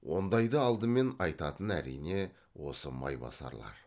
ондайды алдымен айтатын әрине осы майбасарлар